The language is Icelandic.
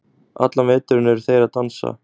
allan veturinn eru þeir að dansa